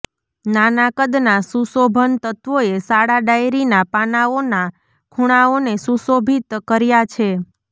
નાના કદના સુશોભન તત્ત્વોએ શાળા ડાયરીનાં પાનાંઓના ખૂણાઓને સુશોભિત કર્યા છે